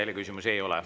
Rohkem küsimusi ei ole.